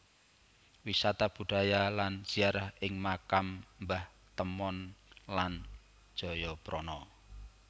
Wisata budaya lan ziarah ing Makam Mbah Temon lan Jayaprana